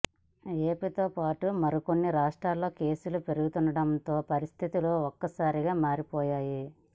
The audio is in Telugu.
ఏపీతో పాటూ మరికొన్ని రాష్ట్రాల్లో కేసులు పెరుగుతుండటంతో పరిస్థితులు ఒక్కసారిగా మారిపోయాయి